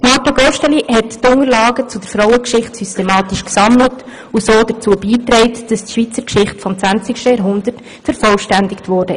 Marthe Gosteli hat die Unterlagen zur Frauengeschichte systematisch gesammelt, und so dazu beigetragen, dass die Schweizer Geschichte des 20. Jahrhunderts vervollständigt wurde.